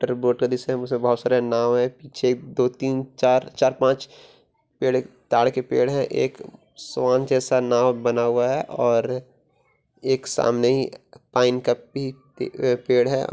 Vote का दृश्य है बहुत सारे नाव है पीछे दो तीन चार चार-पाँच पेड़ है ताड़ कें पेड़ है एक स्वान जैसा नाव बना हुआ है और एक सामने ही पाइन का भी अ पेड़ है।